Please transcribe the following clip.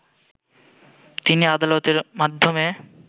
তিনি আদালতের মাধ্যমে